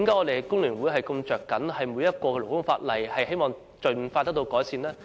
為何工聯會如此着緊每項勞工法例，希望這些法例盡快改善？